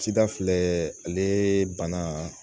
Cida filɛ ale bana